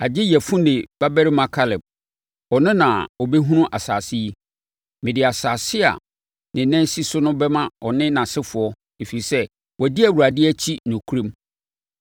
agye Yefune babarima Kaleb. Ɔno na ɔbɛhunu saa asase yi. Mede asase a ne nan sii so no bɛma ɔne nʼasefoɔ, ɛfiri sɛ, wadi Awurade akyi nokorɛm.”